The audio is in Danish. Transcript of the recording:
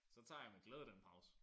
Så tager jeg med gldæde den pause